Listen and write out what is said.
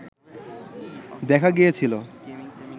দেখা গিয়েছিল